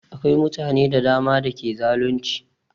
Akwai mutane da dama da ke zalunci